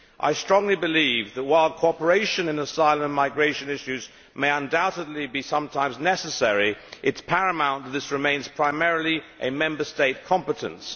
I strongly believe that, while cooperation in asylum and migration issues may undoubtedly be sometimes necessary, it is paramount that this remains primarily a Member State competence.